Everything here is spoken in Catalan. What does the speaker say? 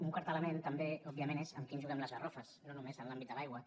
un quart element també òbviament és amb qui ens juguem les garrofes no només en l’àmbit de l’aigua